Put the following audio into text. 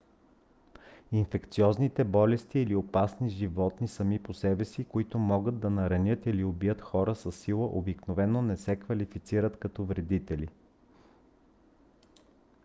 инфекциозните болести или опасни животни сами по себе си които могат да наранят или убият хора със сила обикновено не се квалифицират като вредители